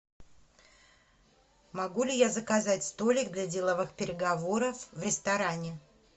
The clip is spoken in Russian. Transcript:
могу ли я заказать столик для деловых переговоров в ресторане